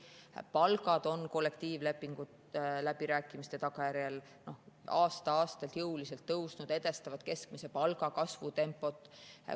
Palgad on kollektiivlepingute üle peetud läbirääkimiste tagajärjel aasta-aastalt jõuliselt tõusnud, edestavad keskmise palga kasvu tempot.